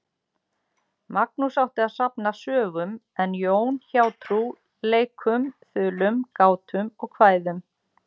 Magnús átti að safna sögum en Jón hjátrú, leikum, þulum, gátum og kvæðum.